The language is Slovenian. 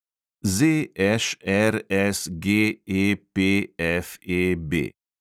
ZŠRSGEPFEB